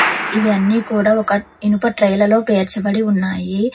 ఇవి అన్నీ కూడా ఒక ఇనుప ట్రేలలో పేర్చబడి ఉన్నాయి.